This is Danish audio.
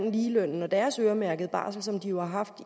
ligelønnen og deres øremærkede barsel som de jo har haft